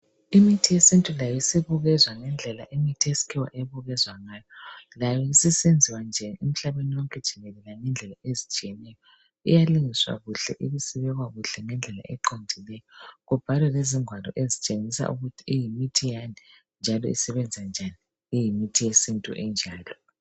Imithi yesintu layo sibukezwa ngendlela imithi yesikhiwa ebukezwa ngayo. Layo isisenziwa nje emhlabeni wonke jikelele ngendlela ezitshiyeneyo. Iyalungiswa kuhle ibisibekwa kuhle ngendlela eqondileyo kubhalwe lezingwalo ezitshengisa ukuthi iyimithi yani njalo isebenza njani iyimithi yesintu injalo.